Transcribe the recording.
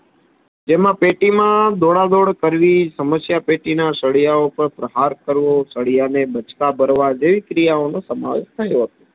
જેમાં પેટીમાં દોડા દોડ કરવી સમસ્યા પેટીના સળિયા ઉપર પ્રહાર કરવો સલિયાને બાચકા ભરવા જેવી ક્રિયાઓનો સમાવેશ થયો હતો